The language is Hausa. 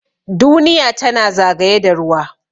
Duniya tana zagaye da ruwa.